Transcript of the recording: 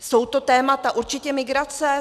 Jsou to témata určitě migrace.